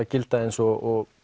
gilda eins og